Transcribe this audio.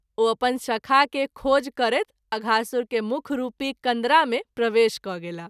ओ अपन शखा के खोज करैत अघासुर के मुख रूपी कन्दरा मे प्रवेश क’ गेलाह।